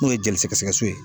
N'o ye jeli sɛgɛsɛgɛ so ye.